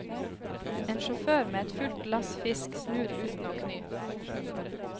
En sjåfør med et fullt lass fisk snur uten å kny.